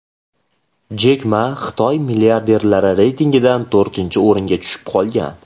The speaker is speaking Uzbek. Jek Ma Xitoy milliarderlari reytingidan to‘rtinchi o‘ringa tushib qolgan.